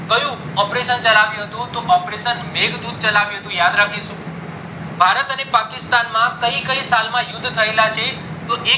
કયું operation ચલાવ્યું હતું તો operation મેઘદૂત ચલાવ્યું હતું ભારત અને પાકિસ્તાન માં કય કય સાલ માં યુદ્ધ થયેલા છે તો